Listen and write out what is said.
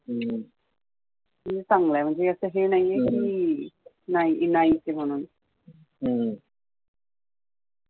चांगलंय म्हणजे असं हे नाहीये कि नाही नाहीच आहे म्हणून